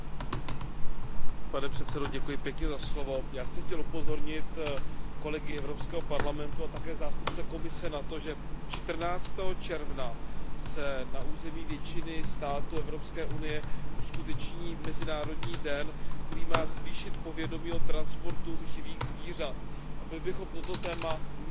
Pane předsedající, já jsem chtěl upozornit kolegy Evropského parlamentu a také zástupce Komise na to, že čtrnáctého června se na území většiny států Evropské unie uskuteční mezinárodní den, který má zvýšit povědomí o transportu živých zvířat, a my bychom toto téma neměli podceňovat.